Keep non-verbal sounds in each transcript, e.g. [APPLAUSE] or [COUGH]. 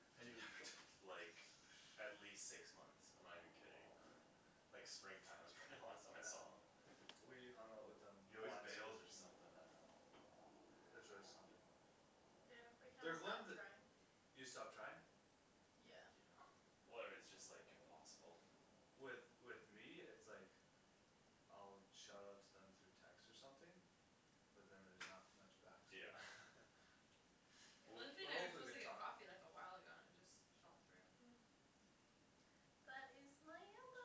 man Have you dude, ever talked to them like like at least six months, I'm not even kidding Like spring time was [NOISE] probably the last time I saw him We hung out with them He always once bails or [INAUDIBLE] something, I dunno There's always something Yeah, we kinda They're going stopped the trying You stopped trying? Yeah Yeah Where it's just like impossible With with me it's like I'll shout out to them through text or something But then there's not much back so Yeah [LAUGHS] Lindsay But and I were hopefully supposed they to get talk [INAUDIBLE] coffee like a while ago and it just fell through Yeah But it's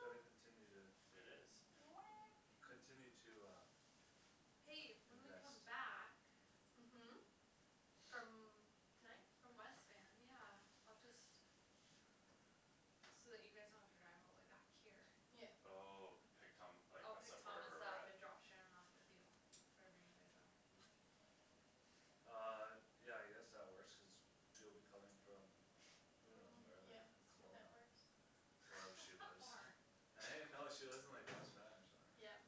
So they continue to It is Weh Continue to uh Hey, when we Invest come back Mhm From tonight? From West Van, yeah, I'll just So that you guys don't have to drive all the way back here Yeah Oh, pick Thom- like I'll us pick up Thomas wherever we're up at? and drop Shan off with you Wherever you guys are Mm Um, yeah I guess that works cuz you'll be coming from Who knows From where, like yeah, that Kelowna works Wherever she [LAUGHS] How lives far? Right no, she lives in like West [LAUGHS] Van or something right Yeah,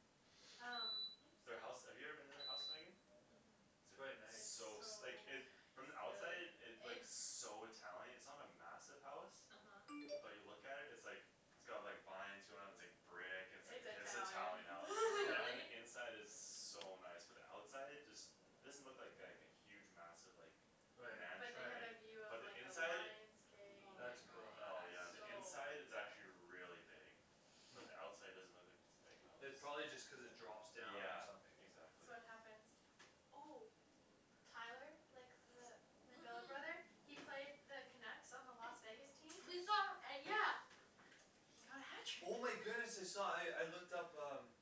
um Their house, Oops have you ever been to their house Megan? Mhm It's quite It's It's nice so so s- like it, from the nice outside Really? it looks so Italian, it's not a massive house Uh huh But you look at it, it's like It's got like vines going up, it's like brick, it's It's like Italian [INAUDIBLE] Italian house, Yeah? and Really? the [LAUGHS] inside is so nice, but the outside just It doesn't look like like a huge massive like Right But mansion, they have a right right view of But the like a inside? lion's gate and Oh like my That's it's cool Oh yeah, the so inside gosh is actually big really big Mm But the outside doesn't look like it's a big house It probably just cuz it drops down or Yeah, something eh exactly So what happens? Oh Tyler, like the my billet brother, Mhm he played the Canucks on the Las Vegas team We saw An- yeah He got a Oh my hat trick goodness I saw, I I looked up um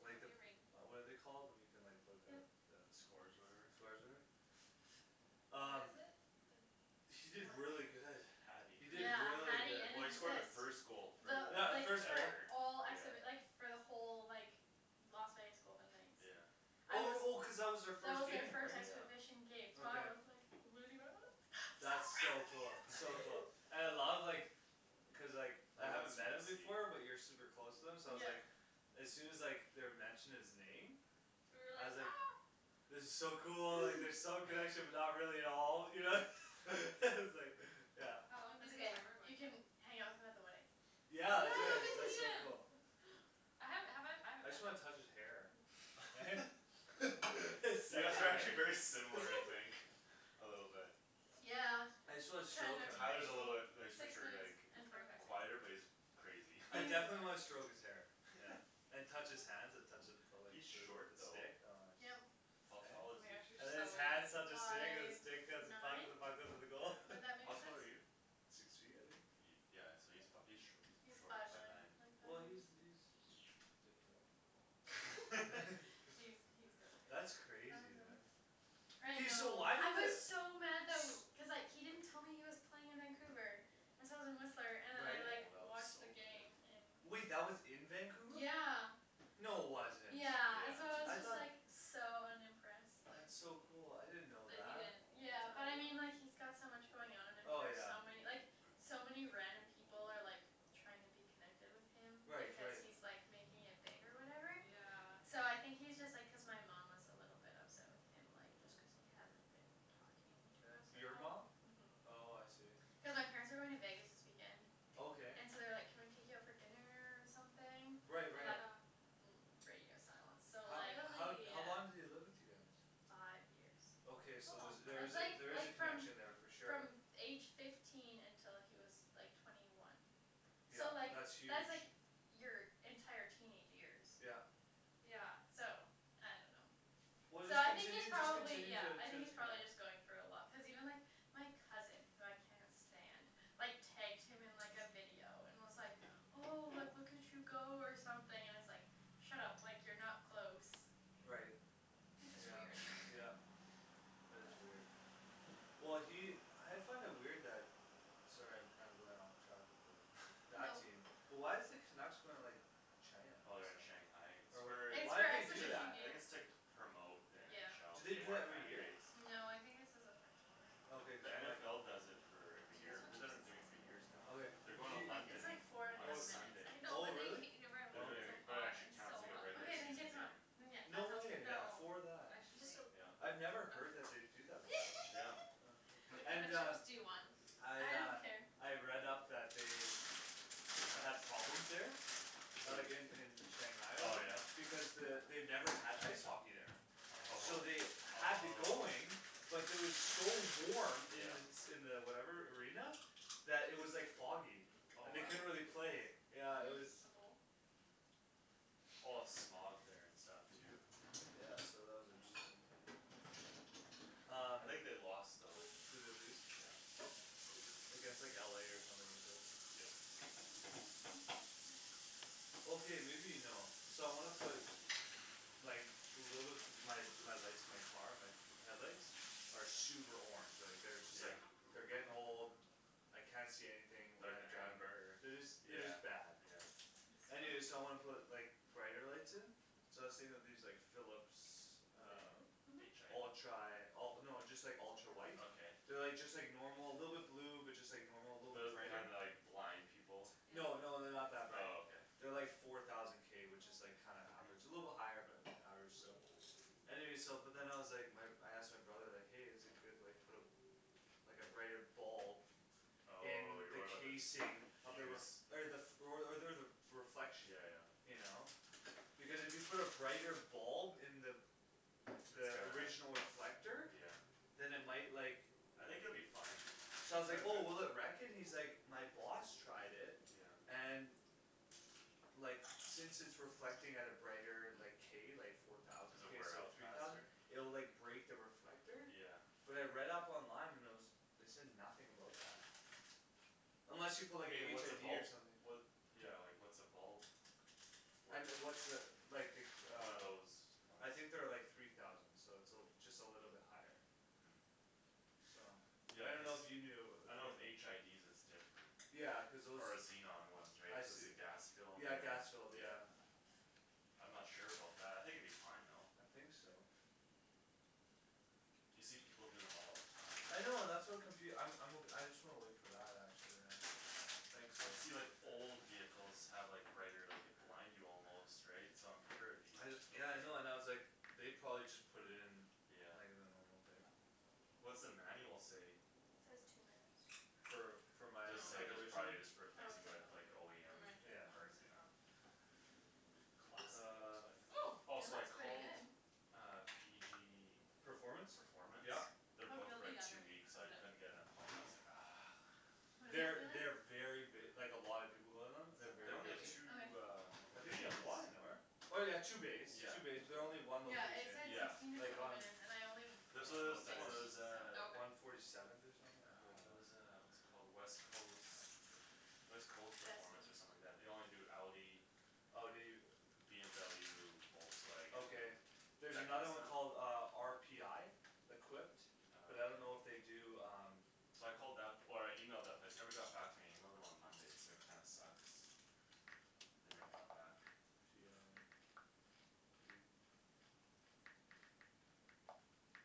Like the, [INAUDIBLE] Ring what are they called when you can like look up Yep the Scores or Scores whatever? or whatever? What Um is it, the He did really good [INAUDIBLE] Hatty He did Yeah, really hatty good and an Well he scored the assist. first goal for Yeah, The the like like, first the goal ever, all acts yeah of it like for the whole like Las Vegas Golden Knights Yeah I Oh was oh cuz that That was was their our first first game right? Yeah exhibition game, so I Okay was like losing my mind, so That's so cool, proud so of cool, [LAUGHS] and I you [LAUGHS] love like Cuz like, I I like how haven't met him before but you're the [INAUDIBLE] super close to him so I was like Yeah As soon as like they were mentioning his name You were I like was ah like It was so cool, like there's some [NOISE] connection but not [LAUGHS] really at all, you know [LAUGHS] [LAUGHS] S- like, yeah How long It's did the ok, timer go you can for? hang out with him at the wedding Yeah Yeah, I we'll could, get to that's so meet him cool [LAUGHS] I haven't, have I, I I haven't met just wanna him touch his hair Eh? [LAUGHS] [LAUGHS] It's, You guys that's are right actually very similar, I think A little bit Yeah, I just wanna kind stroke of him Tyler's a little bit, crazy no he's for Six sure minutes like and forty five quieter, Okay but seconds he's crazy [LAUGHS] I definitely wanna stroke He's [INAUDIBLE] his hair, yeah And touch his hands and touch the [INAUDIBLE] the He's short though stick, aw it's Yep How tall Eh? Oh is my gosh, you're And then he? his so hands touch the weird stick and the Five stick touch the nine? puck and the puck Would goes to the Yeah, goal that [LAUGHS] how make tall are you? sense? Six feet I think? Yeah so he's fi- he's sh- he's He's short, five five nine, yeah Well nine he's he's [INAUDIBLE] he's sh- different [LAUGHS] [LAUGHS] [LAUGHS] He's he's different, how That's crazy does it look? man I I Hey so know, know why I did the was s- so mad tha- w- cuz like he didn't tell me he was playing in Vancouver and so I was in Whistler Oh and then I Right like that looks watched so the good game in Wait that was in Vancouver? Yeah No wasn't Yeah, and so I was I Yeah just thought like, so unimpressed like That's so cool, I didn't know That that he didn't Yeah, but tell I mean you? like he's got so much going on and then Oh there's yeah so many, like so many [NOISE] random people are like trying to be connected with him Right because right he's like making it big or whatever Yeah So I think he's just like cuz my mom was a little bit upset with him like just cuz he hasn't been talking to us at Your all mom? Mhm Oh I see Cuz my parents are going to Vegas this weekend Okay And so they're like can we take you out for dinner or something? Right And like right Yeah mm it's radio silence so How like how how long did he Really? live with you guys? Five years Okay That's a so there's long there time That's is a, like there is like a from connection there for sure from f- age fifteen until he was like twenty one So Yeah, like, that's huge that's like your entire teenage years Yeah Yeah So I dunno Well So just I think he's continue, just probably continue yeah, t- I to think he's probably connect just going through a lot, cuz even like, my cousin, who I cannot stand, like tagged him in like a video and was like oh, like look at you go or something and it's like Shut up, like you're not close Right That's just Yeah weird yeah That is weird Well he, I find it weird that Sorry I'm kinda going off track with the, with that [LAUGHS] team, but why is the Canucks going like China Oh they're in Shanghai, [INAUDIBLE] it's Or whatever, for, It's why'd for they do exhibition ju- that? I think it's like to game promote the Do NFL, to they Yeah gain do more that every year? fanbase No, I think this is a first time Okay cuz The then like NFL does it for every Do you guys year, want they've been like doing it chips for and years salsa? now Okay, They're did going to you Wait, it's London like four and a on Oh, half Sunday I minutes know oh but then you really? can't eat it right They're away cuz doing it's Okay so it, but it hot, actually I'm counts so like a regular Okat, then season hungry get, [INAUDIBLE] then game yeah, No that sounds way, Yeah, No, great for I that Just should don't wait yeah I'd never heard that they'd do that Yeah [INAUDIBLE] [LAUGHS] before What kind And of uh chips do you want? I I don't uh, care I've read up that they Had [INAUDIBLE] problems there A Who? like in in Shanghai or Oh whatever, yeah? because the, they've never had ice hockey there So Oh, they had the going, oh but it was so warm in Yeah the s- in the whatever arena, that it was like foggy, Oh and Whoa, they can couldn't you really play, pass? [NOISE] yeah it was Hm? A bowl? A lot of smog there and stuff too Yeah so that was interesting Um I think they lost though Did they lose? Yeah Like it's like LA or something at least Yep [NOISE] Okay maybe you know, so I wanna put Like, little bit, my lights, my car, my headlights? Are super orange, like they're just Yeah? like, they're getting old I can't see anything when Like I drive, amber? they're just they're Yeah just bad yeah Anyway so I wanna put like [INAUDIBLE] brighter lights in So I was thinking of these like Philips [NOISE] um H i Mhm Ultra, oh no just like ultra white Okay They're like just like normal, little bit blue, but just like normal, little bit Those the brighter kind that like, blind people Yeah No no they're not that bright Oh okay They're like four thousand k which is like kinda average, a little bit Mhm higher but average still Anyway so but then I was like, my I asked my brother like hey is it good like put a Like a brighter bulb [NOISE] In On you're the worried about the fuse casing of the r- okay the, f- or o- or the reflection Yeah yeah You know? Because if you put a brighter bulb in the It's The gonna original reflector Yeah Then it might like I [NOISE] think it would be fine So I was like oh will it wreck it? He's like my boss tried it, Yeah and Like since it's reflecting at a brighter like, k, like four thousand Does it k wear instead of out three thousand faster? It'll like break the reflector Yeah But I read up online and there was, they said nothing about that Mm [NOISE] Unless you put I like a mean like HID what's a bulb or something What, yeah like what's a bulb, I worth n- what's a, like the One uh of those ones I think they're like three thousand so it's a l- just a little bit higher Mm So I Yeah cuz, dunno if you knew I know with HIDs it's different Yeah, cuz those Or xenon ones right, I cuz see the gas filled, Yeah and gas filled, yeah yeah I'm not sure about that, I think it'd be fine though I think so [NOISE] You see people doing them all the time I know and that's what confu- I'm I'm o- I just wanna wait for that, actually yeah Thanks though You see like old vehicles have like brighter, like could blind you almost, right, so I'm sure it'd be I d- yeah I know and I was okay like They probably just put it in, Yeah like the normal thing What's the manual say? Says two minutes For [NOISE] for my a- Does s- [NOISE] say like just original? probably just [INAUDIBLE] replacing it with OEM It might Yeah take longer parts, than yeah that Classic Uh Volkswagen Oh Oh Oh it so I looks pretty called good uh PG Performance? Performance? Yeah [INAUDIBLE] They're booked Feel for the like two underneath, weeks, cuz I it couldn't get an appointment, I was like ah What am They're I they very feeling? b- like a lot of people go to them, they're Still They kind very of only have busy doughy two um I Okay think they bays have one, n- or? Oh yeah two bays, Yeah two bays, but they're only yeah one Yeah it location, said Yeah sixteen to like twenty on minutes and I only I There's put don't so know there's what the that one there sixteen is was so uh Oh okay One forty seventh or something, yeah Ah, there's a what's it called, West Coast West Coast Performance or something like that, they only do Audi Oh do you? BMW, Volkswagen, Okay There's that another kinda one called stuff? uh, RPI? Equipped But I don't know if they Okay do um So I called that, or I emailed that place, they never got back to me and I emailed them on Monday so that kinda sucks They never got back [INAUDIBLE] [INAUDIBLE]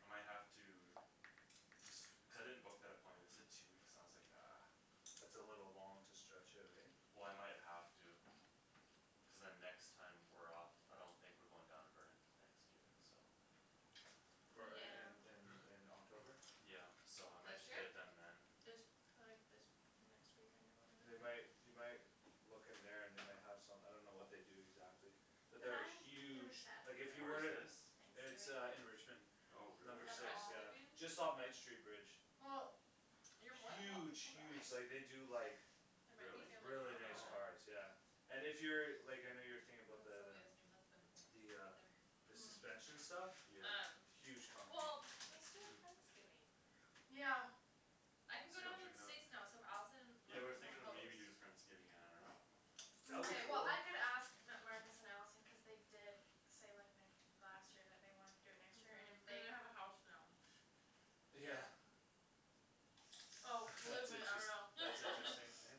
I might have to Cuz I didn't book that appointment, they said two weeks and I was like ah That's a little long to stretch it right? Well I might have to Cuz then next time we're off I don't think we're going down to Burnaby Thanksgiving, so For in in in Yeah in October? [NOISE] Yeah so I might This just get year? it done then This, like this, next weekend or They whatever might, you might Look in there and they might have some, I don't know what they do exactly But there are huge, like if you Where were is [INAUDIBLE] to this? It's uh in Richmond Thanksgiving Oh Have really? Number you got six, friends yeah, leaving? just off Knight street bridge Well You're more than welcome Huge to come to us huge, like they do like There might be Really? family Really drama, nice Oh but cars, yeah And if you're, like I know you were thinking about Cuz the the Sylvia's new husband will be The uh there The Mm suspension stuff? Yeah Um, Huge company well let's do a Hm friendsgiving Yeah I can go Sweet I'll down to check it the out States now so if Allison and Yeah we were Marcus wanna thinking of host maybe doing friendsgiving, I dunno That would be Mkay well cool I could ask M- Marcus and Allison cuz they did say like n- last year that they wanted to do it next year and if Mhm, they and they have a house now Yeah Yeah Oh [LAUGHS] believe That's me I interest- know that's [NOISE] interesting, [LAUGHS] yeah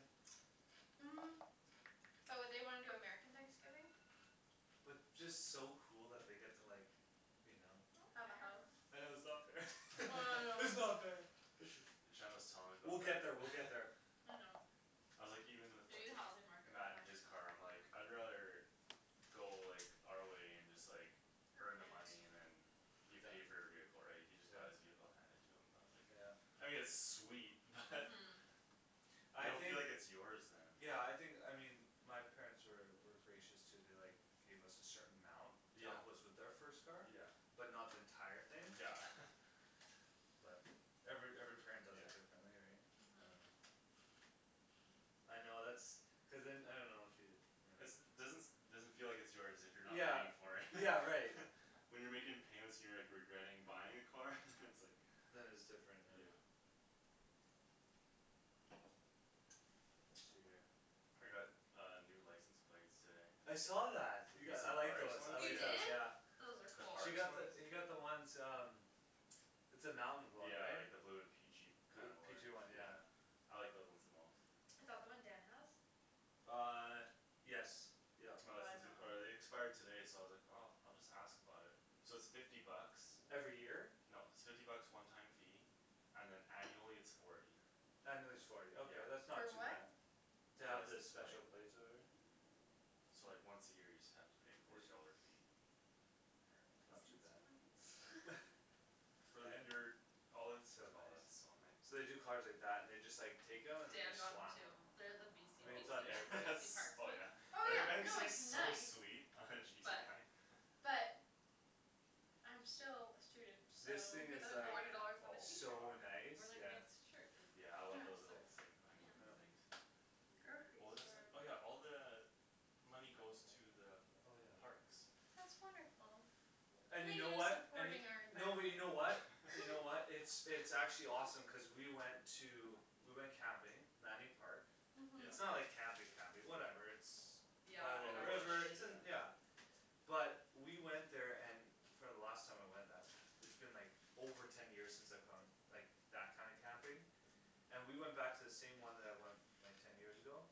Mm But would they wanna do American Thanksgiving? But just so cool that they get to like You know Have a [INAUDIBLE] house I know it's not fair [LAUGHS] I it's know not [LAUGHS] fair Shandryn was telling me We'll about get that there, we'll get there [LAUGHS] I know I'm like even with Maybe the like housing market will Matt in crash his car, I'm like I'd rather Go like, [NOISE] our way and just like Earn earn the money it and then You pay for your vehicle right, he just got his vehicle handed to him, I was like Yeah I mean it's sweet, but [NOISE] You I don't think feel like it's yours then Yeah I think, I mean my parents were were gracious too, they like Gave us a certain amount to Yeah help us with our first car Yeah But not the entire thing Yeah [LAUGHS] But every every parent does Yeah it differently right Mhm I know that's Cuz then I dunno if you, you know It's doesn- doesn't feel like it's yours [NOISE] if you're not Yeah, paying for it yeah right [LAUGHS] When you're making payments and you're like regretting buying a car? [LAUGHS] it's like Then it's different, yeah Yeah I got a new license plate today I saw that. You [INAUDIBLE] got, I like Parks those, I one? You like those Yeah did? yeah Those are The cool She parks got one? the, you got the ones um It's the mountain one Yeah right? like the blue and peachy Blue kind of orange, peachy one yeah yeah I like those ones the most Is that the one Dan has? Uh yes yup No I this is like the, that one or they expired today so I was like oh, I'll just ask about it So it's fifty bucks Every year? No it's fifty bucks one time fee, and then annually it's forty Annually it's forty, ok Yeah that's not For too what? bad To The have the license special plate plates or whatever So like once a year you just have to pay forty dollar fee For That's not too bad license plates? [LAUGHS] [NOISE] For Eh? your, all It's it's so oh that's nice so nice So they do cars like that and just like take them and then they Dan got one slam too, them they're the I BC mean it's BC not Oh an yeah [LAUGHS] BC that's [INAUDIBLE] parks oh one yeah Oh yeah, no it's [INAUDIBLE] so nice sweet But [INAUDIBLE] But I'm still a student, so This You thing could is spend like forty dollars on a pizza, So [INAUDIBLE] Oh my nice, or like a yeah nice shirt Yeah I or Yeah love dress those or little station wagon pants Mm things What was I saying? [INAUDIBLE] Oh yeah, all the Money goes to the Oh yeah parks That's wonderful And you know [INAUDIBLE] what, and y- supporting no but you know what? our You know what, environment [LAUGHS] it's it's actually [LAUGHS] awesome cuz we went to, we went camping, Manning Park Mhm It's Yep not like camping Mhm camping, whatever it's By a Yeah, In little at the the bush, river, it's rivers in, yeah yeah But we went there and for the last time I went that, it's been like over ten years since I've gone like, that kind of camping Mhm And we went back to the same one that I went, like ten years ago?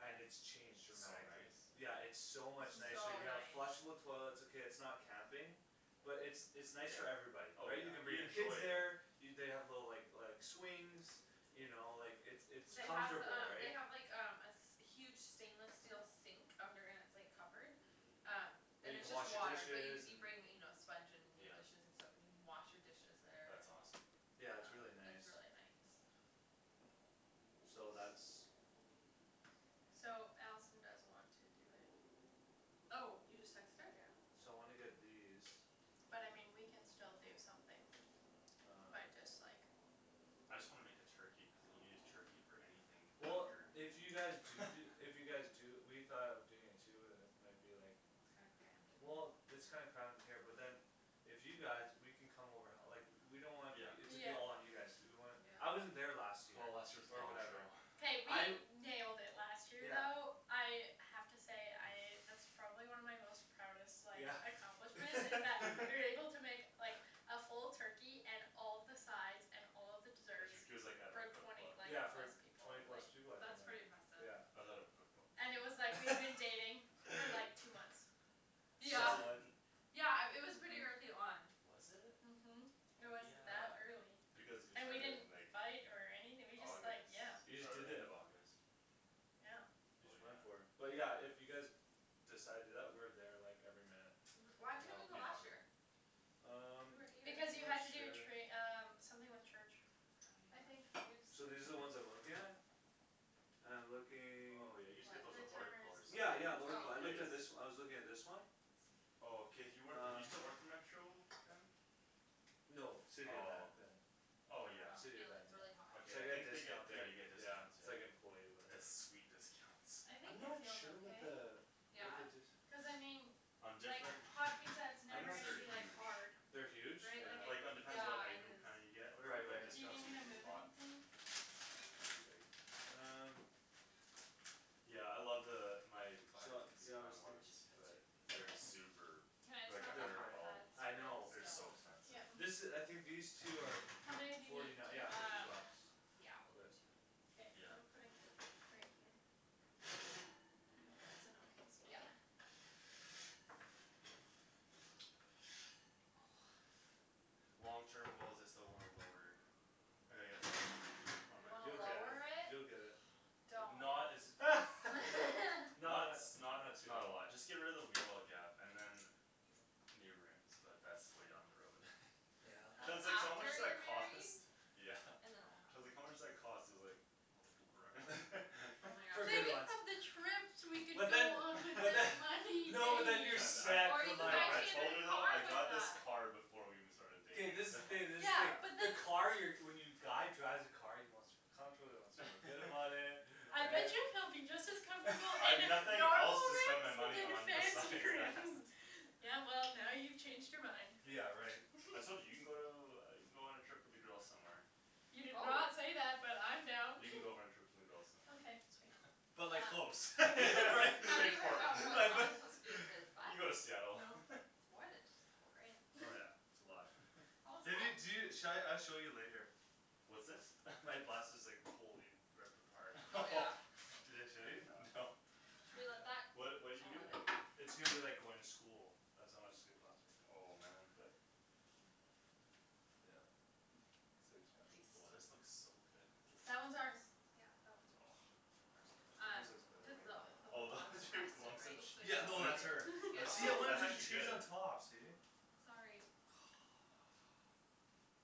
And it's changed So dramatically, nice yeah it's so much nicer So you Mm have Yeah nice flushable toilets okay it's not camping But it's it's nice Yeah, for everybody, oh right yeah, you can bring you your kids enjoy there it You they have the like like swings You know like it's it's They have the comfortable um they right have like um a s- huge stainless steel sink, under and it's like covered Um Mm That And you it's can just wash your water, but you dishes, c- you and bring you know sponge and your Yeah dishes and soap in, you can wash your dishes there That's awesome Yeah it's Uh, really nice it's really nice So that's So Allison does want to do it Oh, you just texted her? Yeah So wanna get these But I mean we can still do something, by Um just like I just wanna make a turkey, cuz then you can just use turkey for anything Well after if you guys do do, if [LAUGHS] you guys do, we thought of doing it too but then it might be like It's kinda crammed in Well here it's kinda crammed in here but then If you guys, we can come over h- like, we don't want Yeah y- Yeah it to be all on you guys to do, we want, I wasn't Yeah there last year, Oh last year was a or gong show whatever K I we nailed it last year Yeah though, I have to say I, that's probably [LAUGHS] one of my most proudest like Yeah accomplishments, is that we were [LAUGHS] able to make like A full turkey and all of the sides and all of the desserts, [INAUDIBLE] like out of her for twenty, cookbook like Yeah for plus people, twenty like plus people I think That's pretty like impressive yeah Was out of a cookbook And it was like we had been dating for like two [LAUGHS] months Yeah Solid Yeah um, it was pretty Mhm early on Mhm It Oh was yeah, that early, because you and we started didn't in like fight or anything we just like, August, yeah You just oh did end it of August Yeah [INAUDIBLE] Oh yeah but yeah, if you guys Decide to do that, we're there like every minute Mhm why We can couldn't help you It go you be last fun year? Um, We were here Because you had not to do sure tra- um, something with church I I think uh, So these are I'm the ones I'm [INAUDIBLE] looking at? I'm looking Oh yeah you just get those at What Lordco or Yeah, yeah, something Lordco- Oh I looked at this, I was looking at this one Oh cuz you work for, you still work Uh for Metro Van? No, City of Van, Oh yeah Oh I yeah dunno, City of feel Van, it, it's really hot yeah Okay So I I get a think they get, discount yeah there, you get yeah, discounts, it's yeah like employee or whatever it's sweet discounts I I'm think it not feels sure what okay the, what Yeah? the d- Cuz I mean On like, different hot pizza it's I'm never things not s- gonna they're be like huge hard They're huge? Right, Yeah like Like it depends what Yeah, it it item is kinda you get or whatever, Right but right Do you need discount's me to usually move a lot anything? They're pretty big Um Yeah I love the, my my Su- Yeah I was xenon think- We ones should put two but of these they're in super, Can I they're just like have a the They're hundred a hot prolly, bulb pads I for know They're the so stove? expensive This Yeah i- I think these two are, How many do f- you need, forty nine, two? yeah fifty Um, bucks yeah we'll do But two K, Yeah I'm putting, right here I hope that's an okay Yeah spot [NOISE] Long terms goals I still want a lower I gotta get it lowered, on You my wanna You'll car get it, lower it? you'll get it Don't Not as [LAUGHS] [LAUGHS] Not Not tha- s- not not, too not a lot, just [INAUDIBLE] get rid of the wheel well gap and then New rims, but that's way down the road [LAUGHS] Yeah Shan's That's like so how much after [INAUDIBLE] that you're married cost? [LAUGHS] Yeah And then it'll Shan's like happen how much does that cost, I was like [INAUDIBLE] Oh my For good Think gosh ones of the trips we could But go then on with but then that no but money, then you're babe Shan, I, set Or for you could life no buy I right told her Shandryn a though, car I with got this that car before we even started K dating this is the thing this is the Yeah thing but the the car you're, when you guy drives a car he wants to feel comfortable, he wants to feel good about it, [LAUGHS] I bet right you he'll be just as comfortable in I've a- nothing [LAUGHS] else normal to spend my money rims than on fancy besides that rims Yeah well, now you've changed your mind Yeah right [NOISE] I told you, you can go to, you can go on a trip with the girls somewhere You did not Probab- say that, but I'm down You can go on a trip with the girls somewhere Okay sweet But like Um close [LAUGHS] right, Have [LAUGHS] you [LAUGHS] heard Portland about what like th- Thomas wants to do with his bus? You can [LAUGHS] go to Seattle [LAUGHS] It's more than just a couple grand Oh yeah, [LAUGHS] it's a lot [LAUGHS] All Maybe y- do, set sha- I'll show you later What's this [LAUGHS] My bus is like totally ripped apart Oh yeah [INAUDIBLE] [LAUGHS] Did I show you, no No Should we let that [INAUDIBLE] What, what you do I'll in add it here It's going to be like going to school That's how much it's gonna cost me, Oh man but Yep [NOISE] it's too At expensive Oh this least looks so good That one's ours [NOISE] Yeah, that one's yours Ours Um, Ours looks looks better, better cuz way the wh- better the Oh whole those bottom is rusted lumps of right, so [INAUDIBLE] cheese, Yeah no that's her that's See I so, wanted that's to do actually cheese on good top, [LAUGHS] see Sorry [NOISE]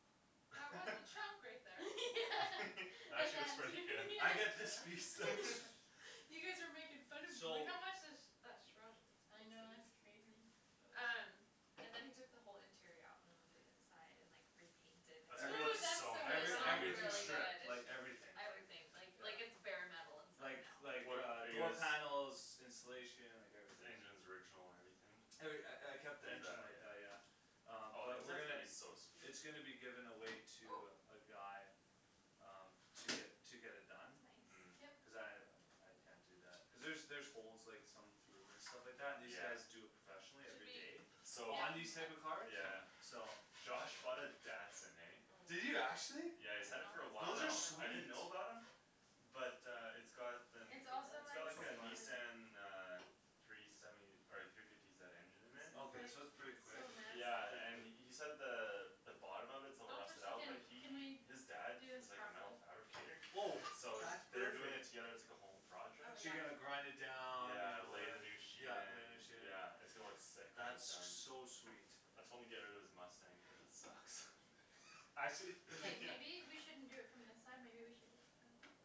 That [LAUGHS] was the chunk right there [LAUGHS] Actually looks Yeah pretty good I get this [INAUDIBLE] piece though [LAUGHS] You guys were making fun of me Like So how much has that shrunk I S- know, that's crazy crazy Uh Um, and then he took the whole interior out and went and did inside and like, repainted That's gonna Every- Ooh look that's so so [INAUDIBLE] It still nice every, though, when looks you much get it everything really done good, fun stripped, it's like just everything, everything, like like it's Yeah bare metal inside Like now like What a- uh are you door guys panels, insulation, like The everything engines original and everything? Every- I I kept [INAUDIBLE] the engine like that, Yeah yeah Um Oh the but we're inside's gonna gonna be so sweet It's gonna be given away Oh to uh, a guy Um, to get, to get it done That's Mm nice Cuz Yep I, um I can't do that cuz there's there's holes like some through and stuff like that, and these Yeah guys do it professionally Should every we day So On these type Yep of Okay yeah cars, yeah so Josh bought a Datsun, eh Oh, I Did don't you actually? Yeah he's had it know for a while if Those are now, it's done I in the middle didn't sweet know about him But uh it's got the, Can you It's feel also it's like got like super a it? Nissan [INAUDIBLE] uh Three seventy, or like three fifty zed engine in This there is Okay like, so that's pretty it's so quick, Yeah and he massive [INAUDIBLE] said the the bottom of it's a little Don't touch rusted the out, but Can, tin can we he, do his dad this is like a metal properly fabricator Oh So that's they're doing it perfect together as like a home Oh project So yeah you're gonna grind it down, you Yeah, know lay whatever, the new sheet yeah lay a in, new sheet yeah it's gonna look sick when he's That's done so sweet I told him to get out of his Mustang cuz it sucks Actually? K Yeah maybe we shouldn't do it from this side maybe we should do it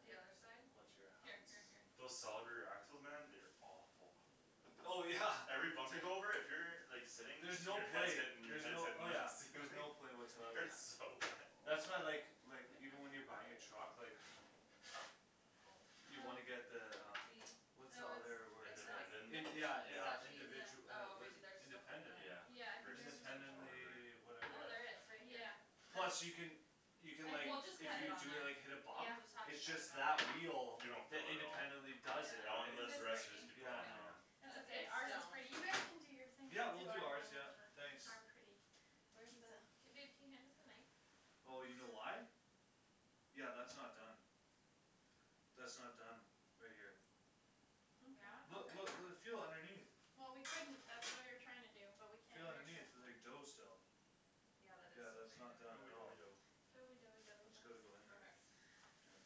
The other side? Watch your Here hands here here Those solid rear axles man, they are awful Oh yeah, Every bump t- you go over, if you're like sitting, then There's no your head's play, hitting, your there's head's no, hitting oh the yeah there's ceiling no play It whatsoever on hurts that so bad That's why I like like, even when you're buying a truck like Oh no You wanna Oh get the um See? What's the Oh other it's The word It's it's no like independent? it's, in- not that's yeah in- Is the uh Yeah that yeah cheese? cheese individu- eh, Oh what is maybe it, there's just a hole independent, then Yeah Yeah I Rift think theirs suspension was or independently, just a yeah whatever hole. Oh whatever there is, right here Yeah, that's Plus you can You can like, I We'll just if cut think it you on do it there cuz like hit a it's We'll bump just have to It's cut it just on that wheel You there don't that feel it at all independently does it, That right, one Cuz lifts, it's the rest breaking just keep going yeah no yeah Yeah It's It's okay, it's ours is stone pretty, you guys can do your thing Yeah now we'll we'll do do our ours [INAUDIBLE] yeah, our pretty thanks Where the, pizza k babe can you hand us the knife? Oh you know why? Yeah that's not done That's not done, right here Yeah? Look Okay Okay look l- feel underneath Well we couldn't, that's what we were trying to do, but we can't Feel underneath, there's like dough [INAUDIBLE] still Yeah that is Yeah that's still not done pretty Doughy at all doughy doughy dough Doughy doughy doughy That's gotta go dough in there, Okay yeah